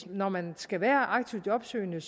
når man skal være aktiv jobsøgende